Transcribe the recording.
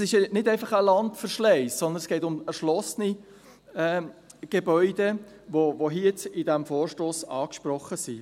Es ist nicht einfach ein Landverschleiss, sondern es geht um erschlossene Gebäude, die hier in diesem Vorstoss angesprochen sind.